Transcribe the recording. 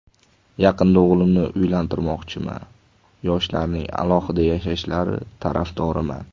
Yaqinda o‘g‘limni uylantirmoqchiman, yoshlarning alohida yashashlari tarafdoriman.